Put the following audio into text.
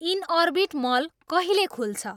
Inorbit mall कहिले खुल्छ